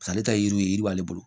Sa ale yiri ye yiri b'ale bolo